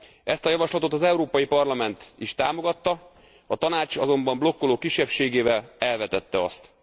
Ezt a javaslatot az Európai Parlament is támogatta, a Tanács azonban blokkoló kisebbségével elvetette azt.